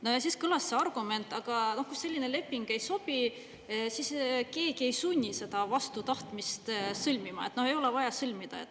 No ja siis kõlas see argument, aga kui selline leping ei sobi, siis keegi ei sunni seda vastu tahtmist sõlmima, no ei ole vaja sõlmida.